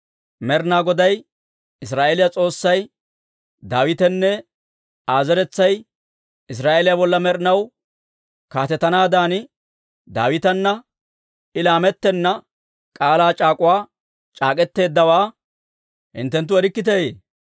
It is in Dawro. Med'inaa Goday Israa'eeliyaa S'oossay Daawitenne Aa zeretsay Israa'eeliyaa bolla med'inaw kaatetanaadan, Daawitana I laamettenna k'aalaa c'aak'uwaa c'ak'k'eteeddawaa hinttenttu erikkiteeyye?